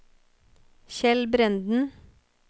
Kjell Brenden